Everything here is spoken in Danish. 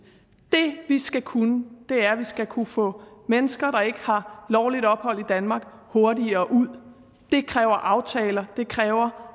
det vi skal kunne er at vi skal kunne få mennesker der ikke har lovligt ophold i danmark hurtigere ud det kræver aftaler det kræver